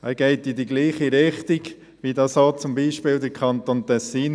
Man geht damit in die gleiche Richtung wie zum Beispiel der Kanton Tessin.